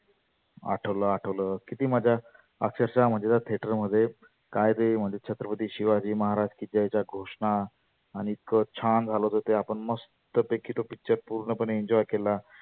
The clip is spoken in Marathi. आठवलं आठवलंं आक्षरषः त्या theater मध्ये काय ते म्हणते छत्रपती शिवाजी महाराजकी जय च्या घोषना. आणि ते इतक छान झालं होतं ते आपण मस्त पैकी तो picture पुर्ण पणे enjoy केला.